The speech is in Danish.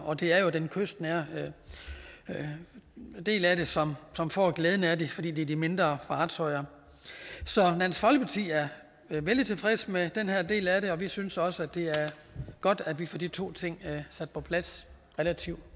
og det er jo den kystnære del af det som som får glæde af det fordi det er de mindre fartøjer så dansk folkeparti er vældig tilfreds med den her del af det og vi synes også at det er godt at vi får de to ting sat på plads relativt